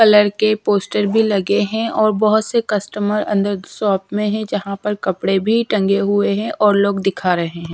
Colour के poster भी लगे हैं और बहोत से कस्टमर अंदर शॉप में हैं जहाँ पर कपड़े भी टंगे हुए हैं और लोग दिखा रहे हैं।